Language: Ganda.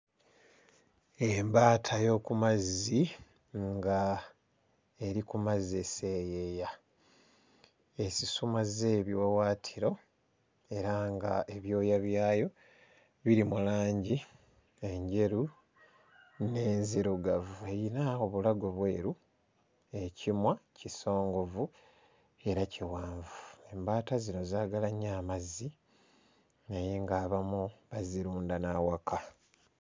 Embaata y'oku mazzi nga eri ku mazzi eseeyeeya, esusumazza ebiwawaatiro era ng'ebyooya byayo biri mu langi enjeru n'enzirugavu, eyina obulago bweru, ekimwa kisongovu era kiwanvu. Embaata zino zaagala nnyo amazzi naye ng'abamu bazirunda n'awaka.